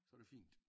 Så er det fint